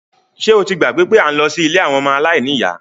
Ṣé o ti gbàgbé pé à ń lọ sí ilé àwọn ọmọ aláìníyá?